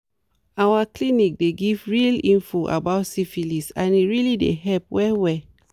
our clinic dey give real info about syphilis and e really dey help well well